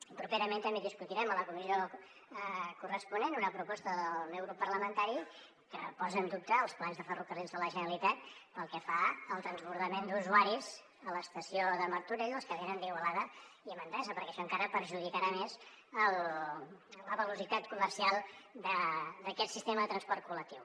i properament també discutirem a la comissió corresponent una proposta del meu grup parlamentari que posa en dubte els plans de ferrocarrils de la generalitat pel que fa al transbordament d’usuaris a l’estació de martorell dels que venen d’igualada i manresa perquè això encara perjudicarà més la velocitat comercial d’aquest sistema de transport col·lectiu